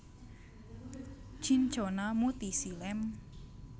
Cinchona mutisii Lamb